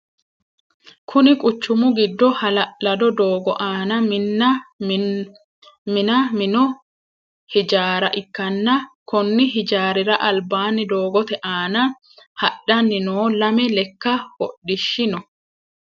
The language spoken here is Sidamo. Kunni quchumu gido ha'lalado doogo aanna Minna mino hijaara ikanna konni hijaarira albaanni doogote aanna hadhanni noo lame leka hodhishi no.